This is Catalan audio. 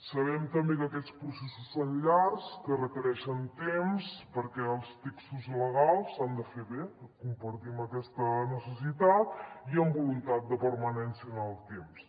sabem també que aquests processos són llargs que requereixen temps perquè els textos legals s’han de fer bé compartim aquesta necessitat i amb voluntat de permanència en el temps